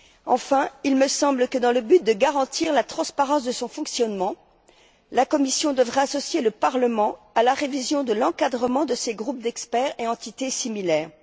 Enfin, il me semble que, dans le but de garantir la transparence de son fonctionnement, la Commission devra associer le Parlement à la révision de l'encadrement de ses groupes d'experts et entités similaires.